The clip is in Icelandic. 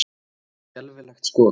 Skelfilegt skot!